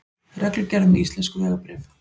Reglugerð um íslensk vegabréf.